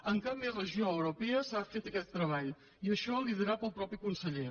en cap més regió europea s’ha fet aquest treball i això liderat pel mateix conseller